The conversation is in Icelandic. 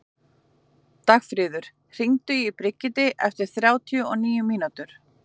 Dagfríður, hringdu í Brigiti eftir þrjátíu og níu mínútur.